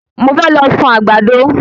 Mo fẹ́ lọ sun àgbàdo